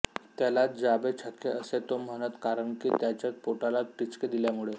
त्याला जा बे छक्के असे तो म्हणतो कारणकी त्याच्या पोटाला टिचकी दिल्यामुळे